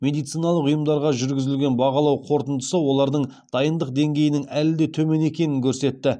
медициналық ұйымдарға жүргізілген бағалау қорытындысы олардың дайындық деңгейінің әлі де төмен екенін көрсетті